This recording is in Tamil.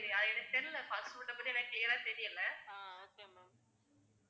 எனக்கு தெரியல fast food அ பத்தி எனக்கு clear ரா தெரியல